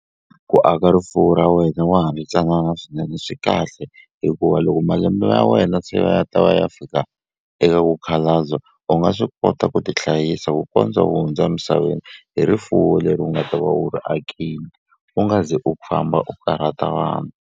Ku aka rifuwo ra wena wa ha ri ntsanana swinene swi kahle hikuva loko malembe ya wena se va ya ta va ya fika eka ku khalabya u nga swi kota ku ti hlayisa ku kondza u hundza misaveni hi rifuwo leri u nga ta va u ri akini u nga ze u famba u karhata vanhu.